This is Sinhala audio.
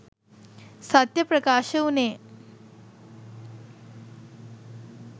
සත්‍යය ප්‍රකාශ වුණේ